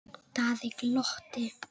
Daði glotti.